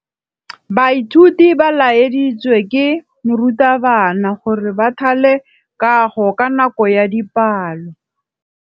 Baithuti ba laeditswe ke morutabana gore ba thale kagô ka nako ya dipalô.